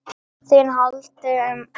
ÞÍN HALDI UM MANN!